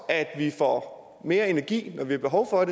at vi får mere energi når vi har behov for